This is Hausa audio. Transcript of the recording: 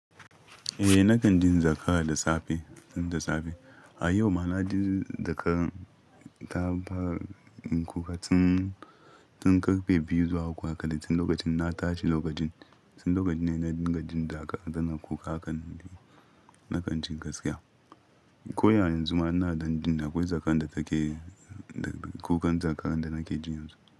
Eh, na kan jin zakara da safe, jin da safe. A yau ma na jin zakara ta fara kuka tin karfe biyu zuwa uku haka, da tin lokacin na tashi lokacin. Tin lokacin ne na jingadin da aka, tana kuka haka na kan jin gaskiya. Ko ya yanzu ma ina dan jin akwai zakan da take kukan zakan da nake jin yanzu.